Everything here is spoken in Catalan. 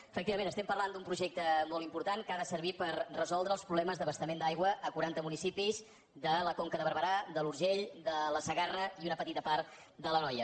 efectivament estem parlant d’un projecte molt important que ha de servir per resoldre els problemes d’abastament d’aigua a quaranta municipis de la conca de barberà de l’urgell de la segarra i una petita part de l’anoia